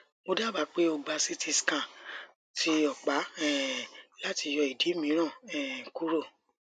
mo daba pe o gba ct scan ti ọpa um lati yọ idi miiran um kuro